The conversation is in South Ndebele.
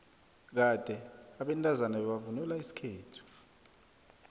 kade abantazana bebavvnula isikhethu